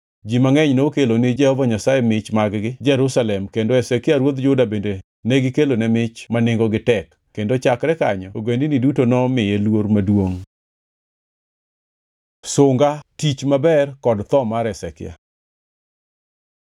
Ji mangʼeny nokelo ni Jehova Nyasaye mich mag-gi Jerusalem kendo Hezekia ruodh Juda bende negikelone mich ma nengogi tek, kendo chakre kanyo ogendini duto nomiye luor maduongʼ. Sunga, tich maber kod tho mar Hezekia